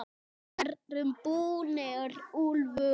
VIÐ ERUM BÚNIR, ÚLFUR!